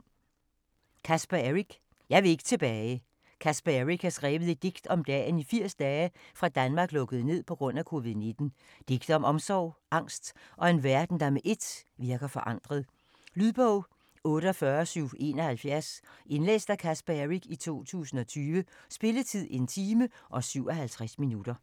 Eric, Caspar: Jeg vil ikke tilbage Caspar Eric har skrevet et digt om dagen i 80 dage, fra Danmark lukkede ned pga. COVID-19. Digte om omsorg, angst og en verden, der med ét virker forandret. Lydbog 48771 Indlæst af Caspar Eric, 2020. Spilletid: 1 time, 57 minutter.